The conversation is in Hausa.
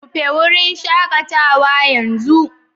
Rufe wurin shakatawa yanzu